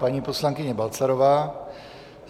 Paní poslankyně Balcarová.